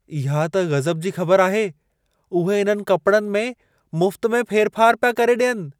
इहा त गज़ब जी ख़बर आहे! उहे इन्हनि कपड़नि में मुफ़्तु में फेर फार पिया करे ॾियनि।